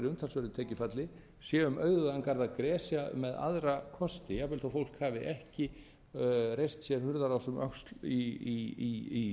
umtalsverðu tekjufalli sé um auðugan garð að gresja með aðra kosti jafnvel þó að fólk hafi ekki reist sér hurðarás um öxl í